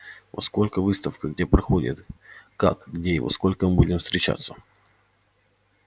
во сколько выставка где проходит как где и во сколько мы будем встречаться